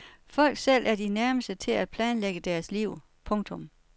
Folk selv er de nærmeste til at planlægge deres liv. punktum